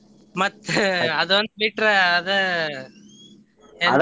ಮತ್ತ ಅದೊಂದ್ ಬಿಟ್ರ ಅದ help .